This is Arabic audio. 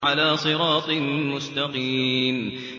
عَلَىٰ صِرَاطٍ مُّسْتَقِيمٍ